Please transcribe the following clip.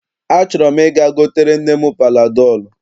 Achọrọ m ị̀ga gotere nne m panadọọlụ.